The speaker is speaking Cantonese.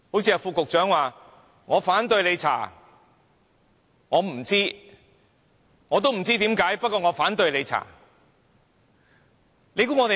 正如副局長說："我反對你調查；我不知道；我也不知為何，不過我反對你調查"。